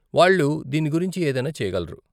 వాళ్ళు దీని గురించి ఏదైనా చేయగలరు .